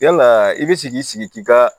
Yalaa i bi se k'i sigi k'i ka